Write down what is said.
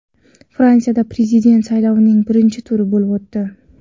Fransiyada prezident saylovining birinchi turi bo‘lib o‘tdi.